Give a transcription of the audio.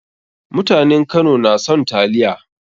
Mutanen Kano na son taliya.